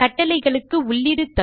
கட்டளைகளுக்கு உள்ளீடு தரும்